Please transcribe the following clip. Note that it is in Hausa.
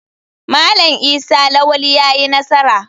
Malam Isa lawali yayi nasara.